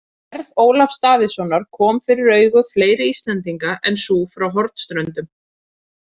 Gerð Ólafs Davíðssonar kom fyrir augu fleiri Íslendinga en sú frá Hornströndum.